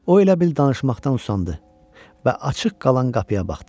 O elə bil danışmaqdan usandı və açıq qalan qapıya baxdı.